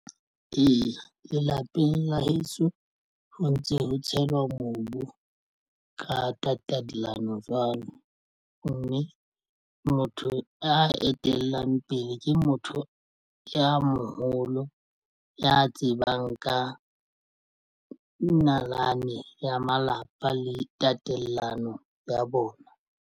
Eya, lelapeng la heso ho ntse ho tshelwa mobu ka tatallano jwalo mme motho a etelang ya pele ke motho ya moholo ya tsebang ka nalane ya malapa le tatelano ya bona.